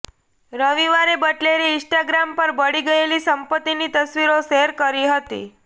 રવિવારે બટલરે ઇન્સ્ટાગ્રામ પર બળી ગયેલી સંપત્તિની તસવીરો શૅર કરી હતી